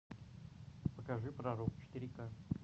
покажи пророк четыре ка